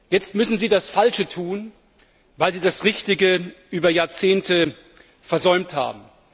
Jetzt müssen Sie das Falsche tun, weil Sie das Richtige über Jahrzehnte versäumt haben.